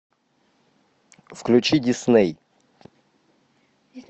включи дисней